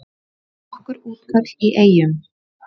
Nokkur útköll í Eyjum